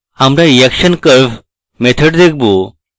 আমরা reaction curve method দেখবো